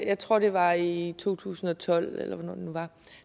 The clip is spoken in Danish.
jeg tror det var i to tusind og tolv eller hvornår